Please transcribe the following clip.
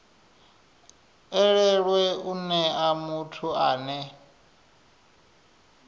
elelwe u nea muthu ane